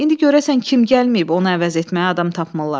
İndi görəsən kim gəlməyib, onu əvəz etməyə adam tapmırlar.